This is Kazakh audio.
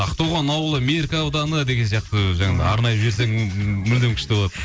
ақтоған ауылы меркі ауданы деген сияқты жаңа арнап жіберсең мүлдем күшті болады